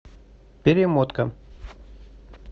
перемотка